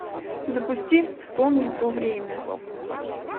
запусти вспомни то время